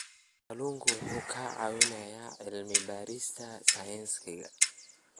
Kalluunku wuxuu ka caawiyaa cilmi-baarista sayniska.